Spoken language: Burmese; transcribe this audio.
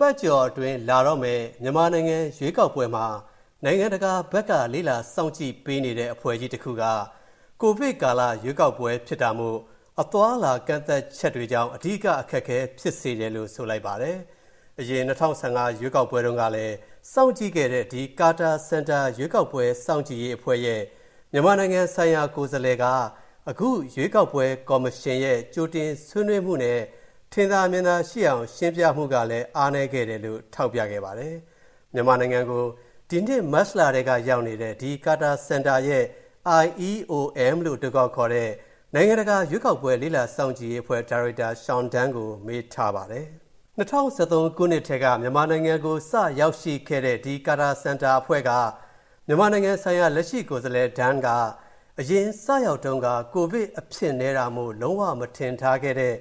ပတ်ကျော်အတွင်း လာတော့မယ့် မြန်မာနိုင်ငံရွေးကောက်ပွဲမှာ နိုင်ငံတကာဘက်က လေ့လာစောင့်ကြည့်ပေးနေတဲ့ အဖွဲ့ကြီးတစ်ခုက ကိုဗစ်ကာလရွေးကောက်ပွဲဖြစ်တာမို့ အသွားအလာကန့်သတ်ချက်တွေကြောင့် အဓိကအခက်အခဲဖြစ်စေတယ်လို့ ဆိုပါတယ်။ အရင် ၂၀၁၅ ရွေးကောက်ပွဲတုံးကလည်း စောင့်ကြည့်ခဲ့တဲ့ ဒီ Carter Center ရွေးကောက်ပွဲစောင့်ကြည့်ရေးအဖွဲ့ရဲ့ မြန်မာနိုင်ငံဆိုင်ရာကိုယ်စားလှယ်က အခုရွေးကောက်ပွဲကော်မရှင်ရဲ့ ကြိုတင်ဆွေးနွေးမူနဲ့ ထင်သာမြင်သာရှိအောင်ရှင်းပြမူကလည်း အားနည်းခဲ့တယ်လို့ ထောက်ပြလိုက်ပါတယ်။ မြန်မာနိုင်ငံကို ဒီနှစ်မတ်လထဲကရောက်နေတဲ့ ဒီ Carter Center ရဲ့ IEOM လို့ အတိုခေါက်ခေါ်တဲ့ နိုင်ငံတကာရွေးကောက်ပွဲလေ့လာစောင့်ကြည့်ရေးအဖွဲ့ ဒါရိုက်တာ Sean Dunne ကို မေးထားပါတယ်။ ၂၀၁၃ ခုနှစ်ထဲက မြန်မာနိုင်ငံကို စရောက်ရှိခဲ့တဲ့ ဒီ Carter Center အဖွဲ့က မြန်မာနိုင်ငံဆိုင်ရာ လက်ရှိကိုယ်စားလှယ် Dunne က အရင် စရောက်တုံးက ကိုဗစ်အဖြစ်နည်းတာမို့ လုံးဝမထင်ထားခဲ့တဲ့